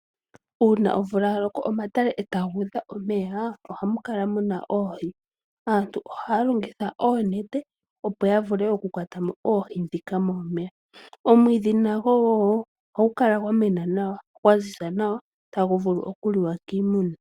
Uuna omvula ya loko omatale eta ga udha omeya, momeya oha mu kala muna oohi. Aantu oha ya longitha oonete opo ya vule oku kwata mo oohi ndhika momeya. Omwiidhi nago wo, oha gu kala gwa mena nawa ta gu vulu oku liwa kiimuna.